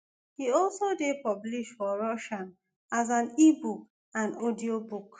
e also dey published for russian as an ebook and audiobook